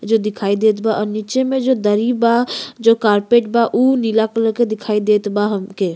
जो दिखाई देत बा। अ नीचे में जो दरी बा जो कार्पेट बा उ नीला कलर के दिखाई देत बा हमके।